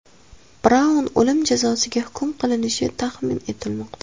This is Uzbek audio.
Braun o‘lim jazosiga hukm qilinishi taxmin etilmoqda.